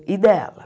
E dela.